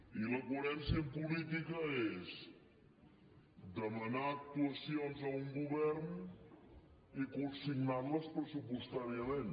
i la coherència en política és demanar actuacions a un govern i consignar les pressupostàriament